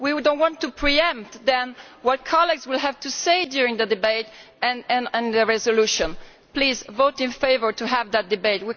We do not want to pre empt, then, what colleagues will have to say during the debate and on the resolution. Please, vote in favour of having that debate.